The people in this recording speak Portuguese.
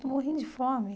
Estou morrendo de fome.